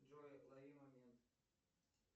джой лови момент